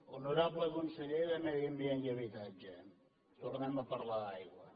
honorable conseller de medi ambient i habitatge tornem a parlar d’aigua